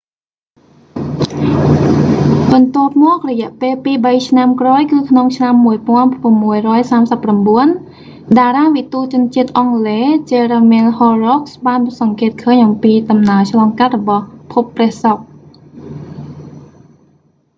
បន្ទាប់មក រយះពេលពីរបីឆ្នាំក្រោយគឺក្នុងឆ្នាំ1639 តារាវិទូជនជាតិអង់គ្លេស jeremiah horrocks បានសង្កេតឃើញអំពីដំណើរឆ្លងកាត់របស់ភពព្រះសុក្រ